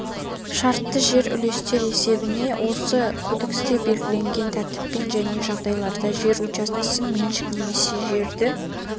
шартты жер үлестер есебіне осы кодексте белгіленген тәртіппен және жағдайларда жер учаскесін меншікке немесе жерді